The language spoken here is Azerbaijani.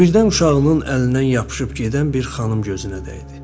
Və birdən uşağının əlindən yapışıb gedən bir xanım gözünə dəydi.